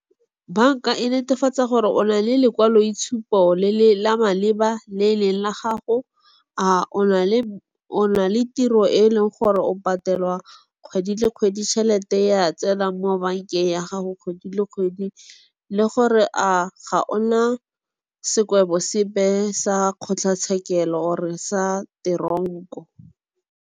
Banka e netefatsa gore o na le lekwaloitshupo la maleba le e leng la gago. A o na le tiro e leng gore o patelwa kgwedi le kgwedi, tšhelete ya tsena mo bankeng ya gago kgwedi le kgwedi. Le gore a ga ona sekwebo sepe sa kgotlatshekelo or-re sa teronko.